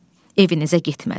Evinizə getmədim.